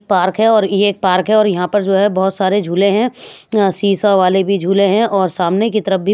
park है और ये एक पार्क है और यहां पर जो है बहुत सारे झूले हैं अंह सी_सा वाले भी झूले हैं और सामने की तरफ भी--